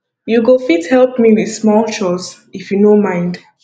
you go fit help me with small chores if you no mind